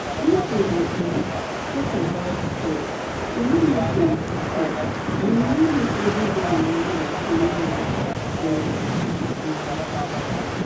if we dey um talk about coil e no need plenty care and u no need every day reminder to know am um um